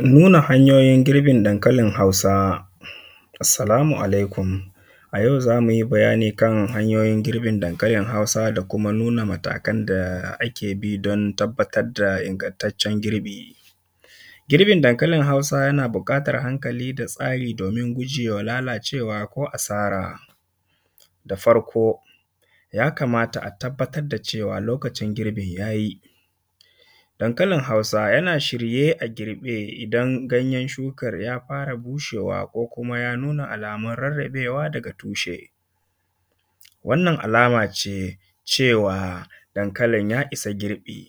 Nuna hanyoyin girbin dankalin hausa. Assalamu alaikum, a yau za mu yi bayani kan hanyoyi girbin dankalin hausa da kuma nuna matakan da ake bi don tabbatar da ingantaccen girbi. Girbin dankalin hausa yana buƙatan hankali da tsari domin gujewa lalacewa ko asara. Da farko ya kamata a tabbatar da cewa lokacin girbin yayi. Dankalin hausa yana shirye a girbe idan ganyen shukar ya fara bushewa, ko kuma ya nuna alamun rarrabewa daga tushe. Wannan alama ce cewa dankalin ya isa girbi.